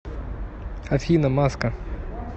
афина маска